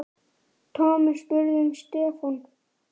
Thomas spurði um Stefán.